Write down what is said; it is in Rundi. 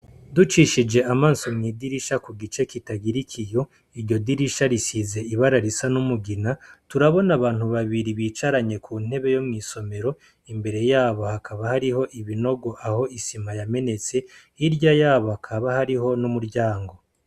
Ducishije amaso kw'idirisha ritagira ikiyo, iryo dirisha risize ibara risa n'umugina turabona abantu babiri bicaranye kuntebe yo mw'isomero, imbere yabo hakaba ariho ibinogo aho isima yamenetse ,hirya yaho hakaba hariho n'umuryango.